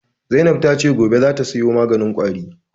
Zainab ta ce gobe za ta sayo maganin ƙwari